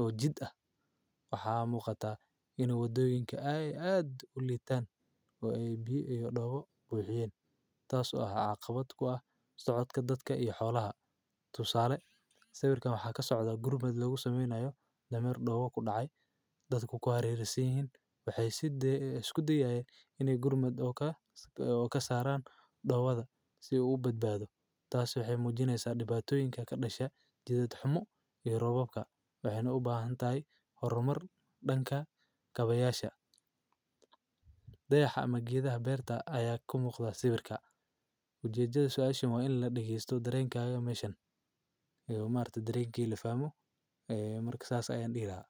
oo jid ah. Waxaa muuqata in wadooyinka ay aad u laataan oo ay biyo dhawo buuxiyen. Taasi oo ah caqabad ku ah, socodka dadka iyo xoolaha. Tusaale sabirka waxaa ka socda gurmad loogu sameynayo dhammaar dhowo ku dhacay. Dadku kuu aareysiin waxay siddee isku dayaa inee gurmad oo ka ka saraan dhowada si uu u badbaado. Taasi waxay muujinaysa dhibaatooyinka ka dhasha Jidad Xamu iyo Robowka waxeyna u baahan taay horumar dhan ka kabayaasha. Dayaxa magiidaha beerta ayaa ku muuqda sabirka. Ku jijiyey su'aashimo in la dhigiiso dareenkaaga meeshan. Iigu maarta dareegga la faamo ee marka saas ay aan dhigaa.